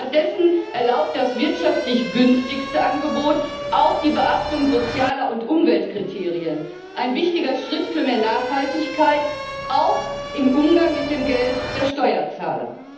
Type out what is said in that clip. Stattdessen erlaubt das wirtschaftlich günstigste Angebot auch die Beachtung von sozialen und Umweltkriterien ein wichtiger Schritt für mehr Nachhaltigkeit, auch im Umgang mit dem Geld der Steuerzahler.